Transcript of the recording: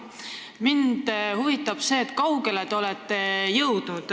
Mind huvitab see, kui kaugele te olete jõudnud.